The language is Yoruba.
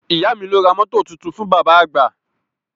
Ìyá mi ló ra rédíò tuntun fún bàbá àgbà